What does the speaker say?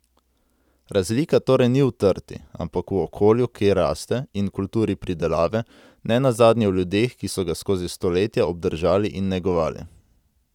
Razlika torej ni v trti, ampak v okolju, kjer raste, in kulturi pridelave, ne nazadnje v ljudeh, ki so ga skozi stoletja obdržali in negovali.